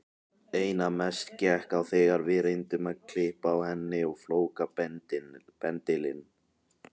Einna mest gekk á þegar við reyndum að klippa á henni flókabendilinn.